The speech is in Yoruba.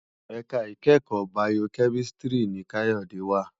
Èká ikèékò Bàyókèmísìtrí ni Kayode wá